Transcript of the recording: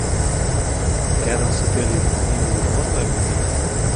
рядом с отелем где нибудь можно обменять